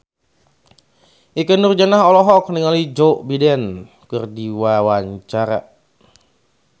Ikke Nurjanah olohok ningali Joe Biden keur diwawancara